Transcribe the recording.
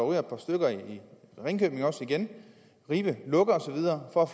ryger et par stykker i ringkøbing igen ribe lukker og så videre for at